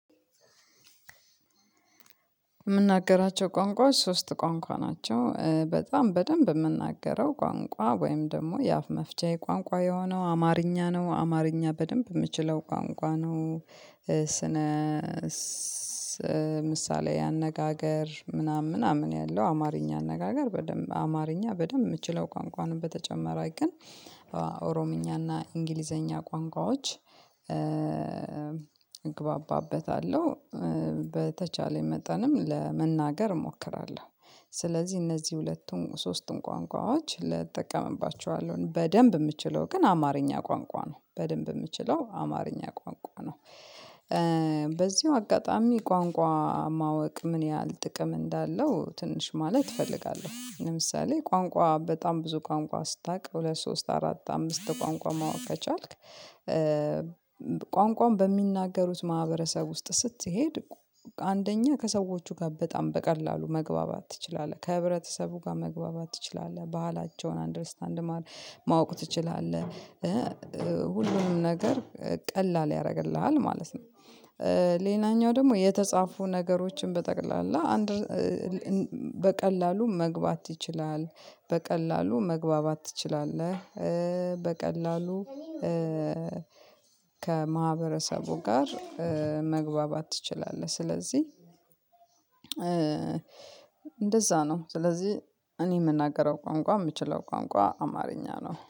የምናገራቸው ቋንቋዎች ሶስት ቋንቋ ናቸው በጣም በደንብ የምናገረው ቋንቋ ወይም ደግሞ የአፍ መፍቻዬ ቋንቋ የሆነው አማርኛ ነው አማርኛ በደንብ የምችለው ቋንቋ ነው። ስነ ምሳሌ አነጋገር ምናምን ምናምን ያለው አማርኛ አነጋገር በደንብ አማርኛ በደንብ የምችለው ቋንቋ ነው በተጨመረ ግን ኦሮምኛና እንግሊዘኛ ቋንቋዎች እግባባበታለሁ በተቻለኝ መጠንም ለመናገር እሞክራለሁ ስለዚህ እነዚህ ሁለቱም ሶስቱም ቋንቋዎች እጠቀምባችኋለሁ በደንብ የምችለው ግን አማርኛ ቋንቋ ነው በደንብ የምችለው አማርኛ ቋንቋ ነው። በዚሁ አጋጣሚ ቋንቋ ማወቅ ምን ያህል ጥቅም እንዳለው ትንሽ ማለት እፈልጋለሁ ለምሳሌ ቋንቋ በጣም ብዙ ቋንቋ ስታውቅ ሁለት ሶስት አራት አምስት ቋንቋ ማወቅ ከቻልክ ቋንቋውን በሚናገሩት ማህበረሰብ ውስጥ ስትሄድ አንደኛ ከሰዎቹ ጋር በጣም በቀላሉ መግባባት ትችላለህ ከህብረተሰቡ ጋር መግባባት ትችላለህ ባህላቸውን አንደርስታንድ ማወቅ ትችላለህ ሁሉንም ነገር ቀላል ያደርግልሃል ማለት ነው። ሌላኛው ደግሞ የተጻፉ ነገሮችን በጠቅላላ አንድ በቀላሉ መግባት ይችላለህ በቀላሉ መግባባት ትችላለህ በቀላሉ ከማህበረሰቡ ጋር መግባባት ትችላለህ ስለዚህ። እንደዛ ነው ስለዚህ እኔ የምናገረው ቋንቋ የምትችለው ቋንቋ አማርኛ ነው